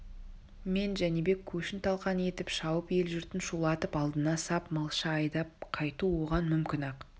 мен жәнібек көшін талқан етіп шауып ел-жұртын шулатып алдына сап малша айдап қайту оған мүмкін-ақ